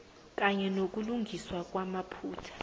kanye nokulungiswa kwamaphutha